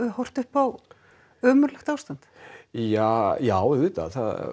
horft upp á ömurlegt ástand ja já auðvitað